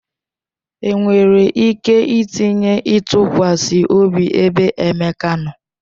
Enwere ike itinye ịtụkwasị obi ebe Emeka nọ?